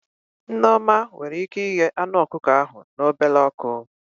Nneoma nwere ike ighe anụ ọkụkọ ahụ na obele ọkụ